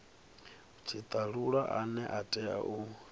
tshitalula ane a tea u